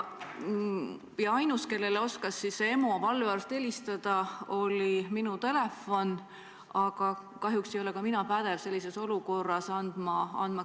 Ja ainus, kellele EMO valvearst oskas helistada, olin mina, aga kahjuks ei ole ka mina pädev sellises olukorras abi andma.